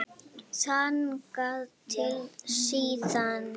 Þangað til síðar.